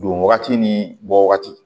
Don wagati ni bɔ wagati